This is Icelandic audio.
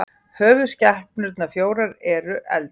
höfuðskepnurnar fjórar eru eldur